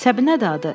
Səbinədir adı.